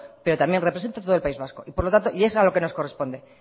pero también represento a todo el país vasco y es a lo que nos corresponde